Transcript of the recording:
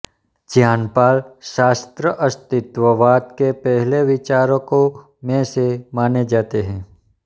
Jean Paul Sartre अस्तित्ववाद के पहले विचारकों में से माने जाते हैं